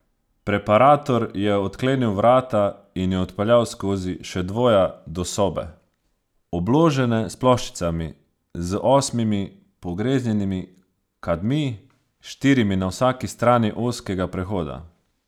Preparator je odklenil vrata in ju odpeljal skozi še dvoja do sobe, obložene s ploščicami, z osmimi pogreznjenimi kadmi, štirimi na vsaki strani ozkega prehoda.